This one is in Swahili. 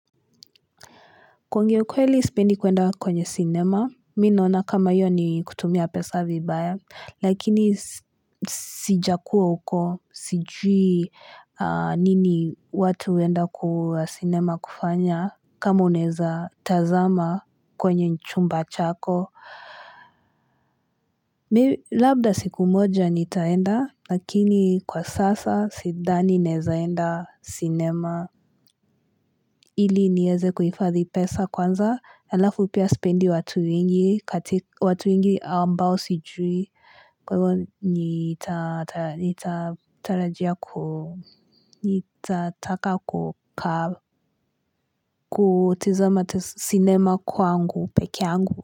Kuongea ukweli sipendi kwenda kwenye cinema, mi naona kama hiyo ni kutumia pesa vibaya, lakini sijakua huko sijui nini watu huenda kwa cinema kufanya kama unaeza tazama kwenye chumba chako. Labda siku moja nitaenda, lakini kwa sasa sidhani naezaenda cinema. Ili nieze kuhifadhi pesa kwanza alafu pia sipendi watu wengi katika watu wengi ambao sijui. Kwa hivyo nita tarajia ku nita taka ku ka kutizama sinema kwangu peke yangu.